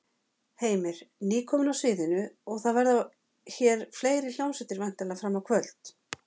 Heimir: Nýkomin af sviðinu og það verða hér fleiri hljómsveitir væntanlega fram á kvöld?